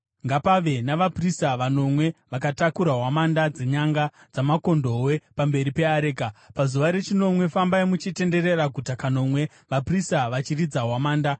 Ngapave navaprista vanomwe vanotakura hwamanda dzenyanga dzamakondobwe pamberi peareka. Pazuva rechinomwe fambai muchitenderera guta kanomwe, vaprista vachiridza hwamanda.